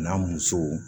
N'a musow